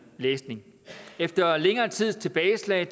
læsning efter længere tids tilbageslag